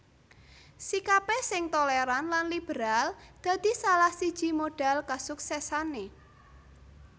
Sikapé sing tolèran lan liberal dadi salah siji modhal kasuksèsané